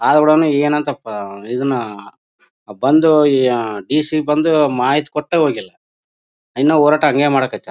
ಆದ್ರೂನು ಏನಂತ ಪ ಇದನ್ನ ಬಂದು ಇ ಅಹ್ ಡಿ ಸಿ ಬಂದು ಮಾಹಿತಿ ಕೊಟ್ಟೆ ಹೋಗಿಲ್ಲಾ ಇನ್ನು ಹೋರಾಟ ಹಂಗೆ ಮಾಡ್ತಿದಾರೆ